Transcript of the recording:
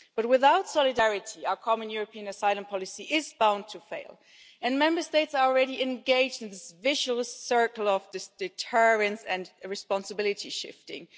Without solidarity, our common European asylum policy is bound to fail, and Member States are already engaged in this vicious circle of deterrence and responsibility shifting.